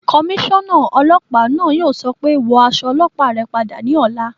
Kọmísọ́nà ọlọ́pàá náà yóò sọ pé "Wọ aṣọ ọlọ́pàá rẹ padà ní ọ̀la